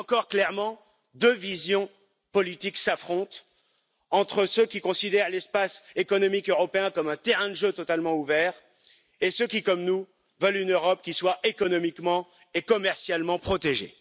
Là encore, clairement, deux visions politiques s'affrontent, entre ceux qui considèrent l'Espace économique européen comme un terrain de jeu totalement ouvert et ceux qui, comme nous, veulent une Europe qui soit économiquement et commercialement protégée.